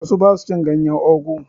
Wasu ba su cin ganyen ogu.